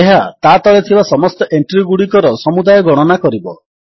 ଏହା ତାତଳେ ଥିବା ସମସ୍ତ ଏଣ୍ଟ୍ରୀଗୁଡ଼ିକର ସବୁଦାୟ ଗଣନା କରିବ